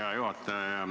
Hea juhataja!